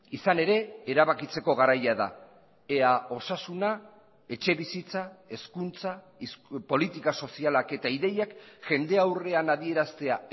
izan ere erabakitzeko garaia da ea osasuna etxebizitza hezkuntza politika sozialak eta ideiak jende aurrean adieraztea